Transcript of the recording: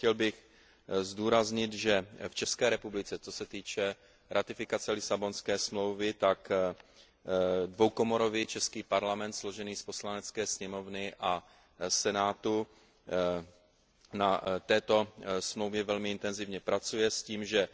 Chtěl bych zdůraznit, že v České republice, co se týče ratifikace Lisabonské smlouvy, dvoukomorový Parlament složený z Poslanecké sněmovny a Senátu na této Smlouvě velmi intenzivně pracuje s tím, že